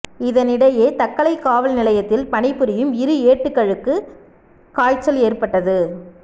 இதனிடையே தக்கலை காவல் நிலையத்தில் பணி புரியும் இரு ஏட்டுக்களுக்கு காய்ச்சல் ஏற்பட்டது